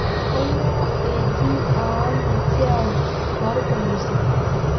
Kanyio eeji aany' esiai toorpolisi?